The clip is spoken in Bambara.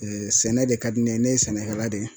sɛnɛ de ka di ne ye , ne ye sɛnɛkɛla de ye.